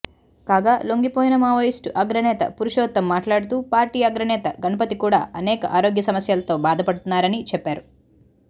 కాగా లొంగిపోయిన మావోయిస్టు అగ్రనేత పురుషోత్తం మాట్లాడుతూ పార్టీ అగ్రనేత గణపతి కూడా అనేక ఆరోగ్య సమస్యలతో బాధపడుతున్నారని చెప్పారు